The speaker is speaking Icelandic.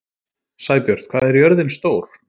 Sæbjört, hvað er jörðin stór?